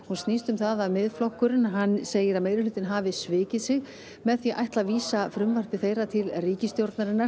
snýst um að Miðflokkurinn segir meirihlutann hafa svikið sig með því að ætla að vísa frumvarpi þeirra til ríkisstjórnar